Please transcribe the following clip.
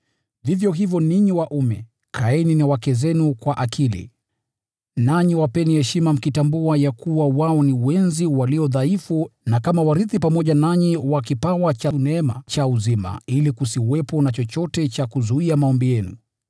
Vivyo hivyo ninyi waume, kaeni na wake zenu kwa akili, nanyi wapeni heshima mkitambua ya kuwa wao ni wenzi walio dhaifu, na kama warithi pamoja nanyi wa kipawa cha neema cha uzima, ili kusiwepo na chochote cha kuzuia maombi yenu.